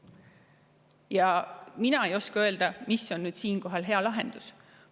Ja mina ei oska öelda, mis on siinkohal hea lahendus.